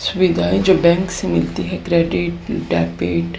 सुविधाएं जो बैंक से मिलती है क्रेडिट डेबिट --